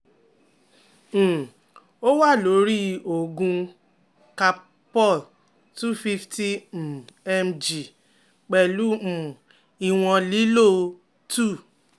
um o wa lori oogun calpol 250 um mg pẹlu um iwon lilo 2